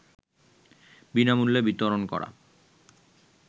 বিনামূল্যে বিতরণ করা